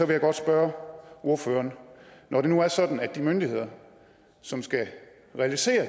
jeg godt spørge ordføreren når det nu er sådan at de myndigheder som skal realisere